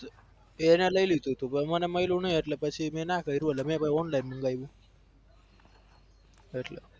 એને લઇ લીધું તું પછી મને મયલું નઈ એટલે પછી મેં ના કયરું એટલે મેં પછી online મંગાયું. એટલે